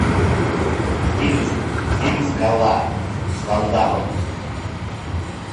фильм фильм скала с ван даммом